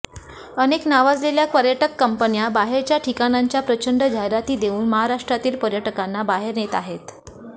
अनेक नावाजलेल्या पर्याटक कंपन्या बाहेरच्या ठिकाणाच्या प्रचंड जाहिराती देऊन महाराष्ट्रातील पर्यटकाना बाहेर नेत आहेत